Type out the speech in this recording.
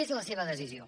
és la seva decisió